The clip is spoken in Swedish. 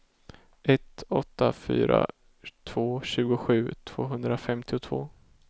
ett åtta fyra två tjugosju tvåhundrafemtiotvå